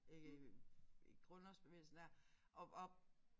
Øh grundlovsbevægelsen der